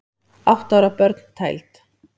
Átta ára börn tæld